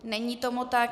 Není tomu tak.